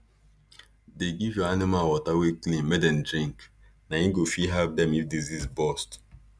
dey give your animal water wey clean make dem drink na e go first help dem if disease bust